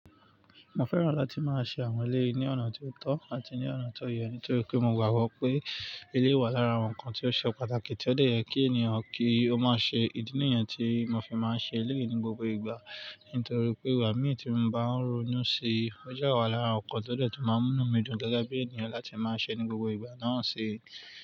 Mo fẹ́ràn láti máa ṣe àwọn eléyi ní ọ̀nà tó tọ́ àti ní ọ̀nà tó yẹ ní torí pé mo gbàgbọ́ pé eléyii wà lára àwọn ǹkan tí ó ṣe pàtàkì tí ó de yẹ kí ènìyàn kí ó má ṣe. Ìdí nìyẹn tí mo fi máa ń ṣe eléyii ní gbogbo ìgbà. Nítorí pé igbá mì tí mo bá ń ronú ṣe, ó dẹ́ wa lára ǹkan tó detun máa ń múnu mi dùn gẹ́gẹ́ bí ènìyàn láti máa ṣe ní gbogbo ìgbà náà ṣii.